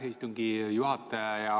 Aitäh, istungi juhataja!